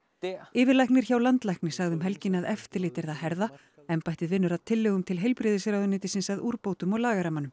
yfirlæknir hjá landlækni sagði um helgina að eftirlit yrði að herða embættið vinnur að tillögum til heilbrigðisráðuneytisins að úrbótum á lagarammanum